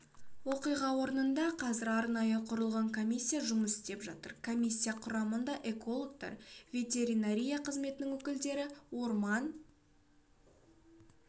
оқиға орнында қазір арнайы құрылған комиссия жұмыс істеп жатыр комиссия құрамында экологтар ветеринария қызметінің өкілдері орман